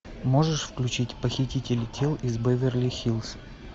можешь включить похитители тел из беверли хиллз